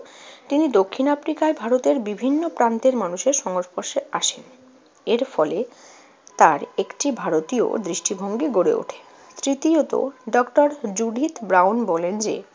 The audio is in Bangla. তিনি দক্ষিণ আফ্রিকায় ভারতের বিভিন্ন প্রান্তের মানুষের সংস্পর্শে আসেন। এর ফলে তার একটি ভারতীয় দৃষ্টিভঙ্গি গড়ে ওঠে। তৃতীয়ত, ডক্টর জুডিথ ব্রাউন বলেন যে,